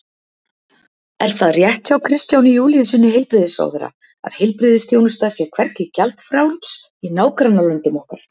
Er það rétt hjá Kristjáni Júlíussyni heilbrigðisráðherra að heilbrigðisþjónusta sé hvergi gjaldfrjáls í nágrannalöndum okkar?